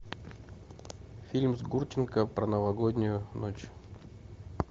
фильм с гурченко про новогоднюю ночь